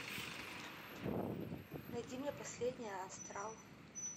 найди мне последний астрал